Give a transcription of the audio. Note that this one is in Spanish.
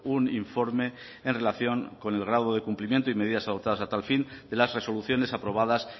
un informe en relación con el grado de cumplimiento y medidas adoptadas a tal fin de las resoluciones aprobadas